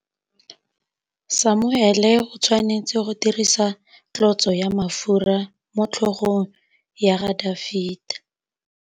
Samuele o tshwanetse go dirisa tlotsô ya mafura motlhôgong ya Dafita.